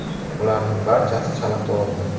Ularning barchasi chala tug‘ildi.